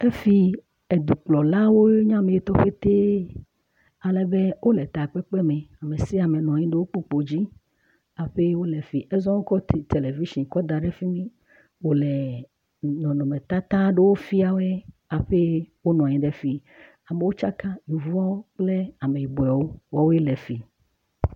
Efii, edukplɔlawo nye amewo ƒetee, alebe wole takpekpe me, ame sia me nɔ anyi ɖe wo kpokpo dzi, aƒe wole fi, azɔ wokɔ televitsin kɔ da ɖe fi mi wòle nɔnɔmetata ɖewo fia wɔe aƒe wonɔ anyi ɖe fi.